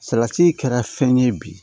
Salati kɛra fɛn ye bi